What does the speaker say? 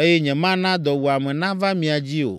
eye nyemana dɔwuame nava mia dzi o.